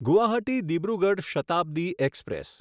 Guwahati Dibrugarh Shatabdi express